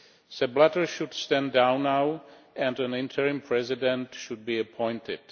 Sepp Blatter should stand down now and an interim president should be appointed.